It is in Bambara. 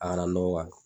A kana nɔgɔ